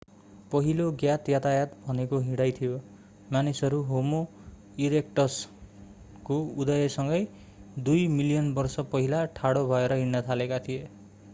पहिलो ज्ञात यातायात भनेको हिँडाइ थियो मानिसहरू होमो ईरेक्टस ठाडो मानिस को उदयसँगै दुई मिलियन वर्ष पहिला ठाडो भएर हिँड्न थालेका थिए।